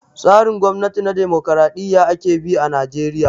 Tsarin gwamnati na dimokraɗiya ake bi a najeriya